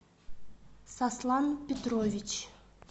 сослан петрович